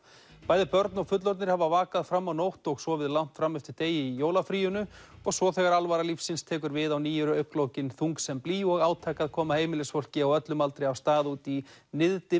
bæði börn og fullorðnir hafa vakað fram á nótt og sofið langt fram eftir degi í jólafríinu og svo þegar alvara lífsins tekur við á ný eru augnlokin þung sem blý og átak að koma heimilisfólki á öllum aldri af stað út í